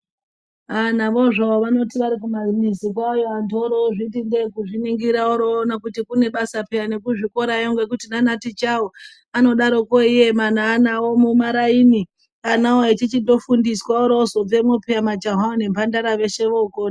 Ah! navozvo vanoti varikumamizi kwavoyo antu orozviti ndee kuzviningira voroona kuti kune basa pheyani kuzvikorayo ngokuti nanatichawo anodaroko eiema neana awo mumaraini, anawo echichitofundiswa oroozobvemwo pheya majahawo nembandara veshe vookona.